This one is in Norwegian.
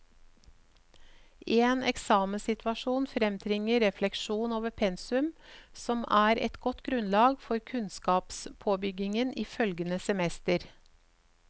En eksamenssituasjon fremtvinger refleksjon over pensum, som er et godt grunnlag for kunnskapspåbyggingen i følgende semester.